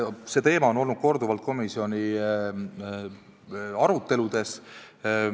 See teema on olnud korduvalt komisjonis arutelul.